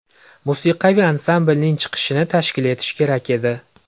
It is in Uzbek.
Musiqiy ansamblning chiqishini tashkil etish kerak edi.